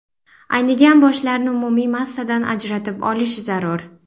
Aynigan boshlarni umumiy massadan ajratib olish zarur.